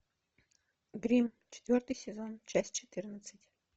гримм четвертый сезон часть четырнадцать